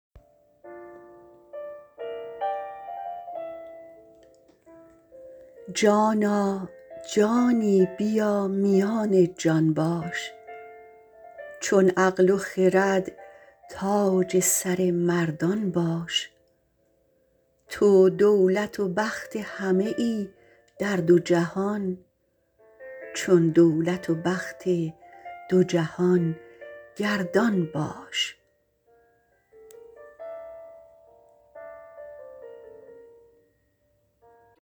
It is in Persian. جان جانی بیا میان جان باش چون عقل و خرد تاج سر مردان باش تو دولت و بخت همه ای در دو جهان چون دولت و بخت دو جهان گردانباش